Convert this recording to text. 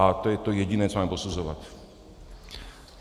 A to je to jediné, co máme posuzovat.